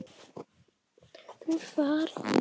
Þú ert farin.